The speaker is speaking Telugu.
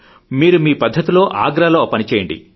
మీరు మీ పద్ధతిలో ఆగ్రాలో ఆ పని చేయండి